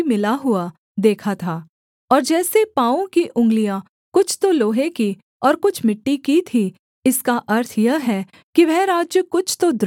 और जैसे पाँवों की उँगलियाँ कुछ तो लोहे की और कुछ मिट्टी की थीं इसका अर्थ यह है कि वह राज्य कुछ तो दृढ़ और कुछ निर्बल होगा